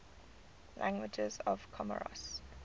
languages of comoros